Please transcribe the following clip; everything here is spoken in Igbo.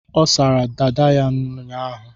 Ọ sara dada ya ụnyaahụ.